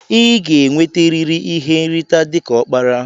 Iga enwete riri ihe nrita dika okpara!!